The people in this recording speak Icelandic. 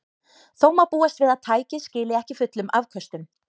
Þó má búast við að tækið skili ekki fullum afköstum.